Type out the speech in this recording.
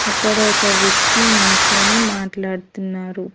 ఇక్కడ ఒక వ్యక్తి నించొని మాట్లాడుతున్నారు.